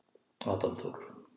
Adam Þór.